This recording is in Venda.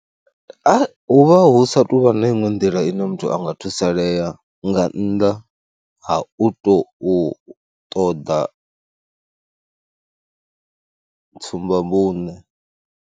Hu vha hu sa tou vha na iṅwe nḓila ine muthu a nga thusalea nga nnḓa ha u tou ṱoḓa tsumbavhuṋe.